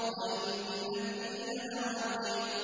وَإِنَّ الدِّينَ لَوَاقِعٌ